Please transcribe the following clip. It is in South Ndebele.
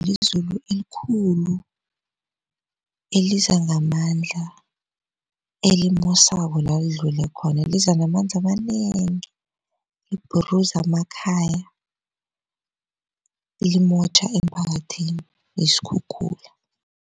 Lizulu elikhulu eliza ngamandla elimosako lalidlule khona liza ngamandla amanengi libhuruza amakhaya limotjha emphakathini yisikhukhula.